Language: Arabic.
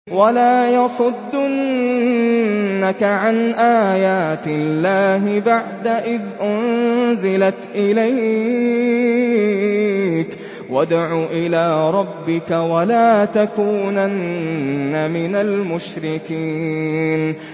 وَلَا يَصُدُّنَّكَ عَنْ آيَاتِ اللَّهِ بَعْدَ إِذْ أُنزِلَتْ إِلَيْكَ ۖ وَادْعُ إِلَىٰ رَبِّكَ ۖ وَلَا تَكُونَنَّ مِنَ الْمُشْرِكِينَ